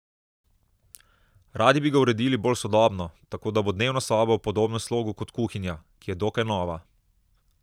Radi bi ga uredili bolj sodobno, tako da bo dnevna soba v podobnem slogu kot kuhinja, ki je dokaj nova.